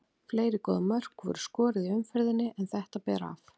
Fleiri góð mörk voru skoruð í umferðinni en þetta ber af.